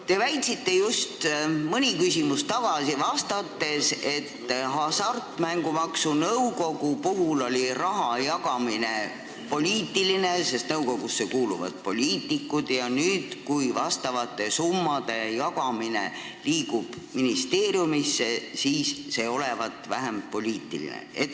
Te väitsite just mõni küsimus tagasi oma vastuses, et Hasartmängumaksu Nõukogu puhul on raha jagamine poliitiline, sest nõukogusse kuuluvad poliitikud, ja nüüd, kui vastavate summade jagamine liigub ministeeriumisse, olevat see vähem poliitiline.